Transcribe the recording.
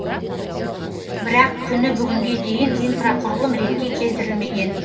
бірақ күні бүгінге дейін инфрақұрылым ретке келтірілмеген